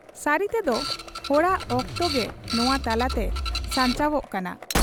ᱥᱟᱹᱨᱤᱛᱮᱫᱚ ᱦᱚᱲᱟᱜ ᱚᱠᱛᱚᱜᱮ ᱱᱚᱶᱟ ᱛᱟᱞᱟᱛᱮ ᱥᱟᱧᱪᱟᱣᱜ ᱠᱟᱱᱟ ᱾